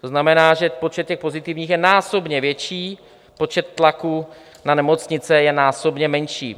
To znamená, že počet těch pozitivních je násobně větší, počet tlaků na nemocnice je násobně menší.